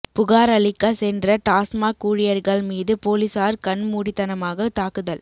புகார் அளிக்க சென்ற டாஸ்மாக் ஊழியர்கள் மீது போலீசார் கண்மூடித்தனமாக தாக்குதல்